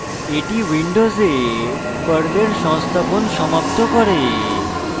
এটি উইন্ডোসে পর্লের সংস্থাপন সমাপ্ত করে